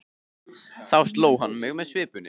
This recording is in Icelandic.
Þá sló hann mig með svipunni.